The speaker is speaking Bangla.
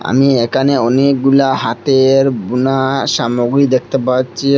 আমি একানে অনেকগুলা হাতের বুনা সামগ্রী দেখতে পাচ্ছি।